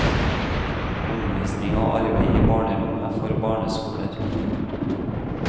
Omvisning og arbeid i barnerommet for barneskoler.